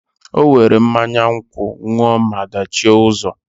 O were mmanya nkwu ṅụọ maa dachie ụzọ.